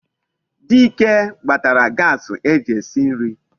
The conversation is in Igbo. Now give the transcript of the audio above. Dike gbatara Gasii eji esi nri